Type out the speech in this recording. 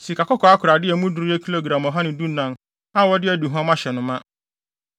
sikakɔkɔɔ akorade a emu duru yɛ gram ɔha ne dunan (114) a wɔde aduhuam ahyɛ no ma;